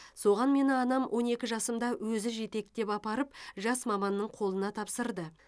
соған мені анам он екі жасымда өзі жетектеп апарып жас маманның қолына тапсырды